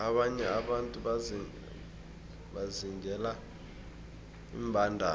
abanye abantu bazingela iimbandana